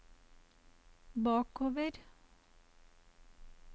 bakover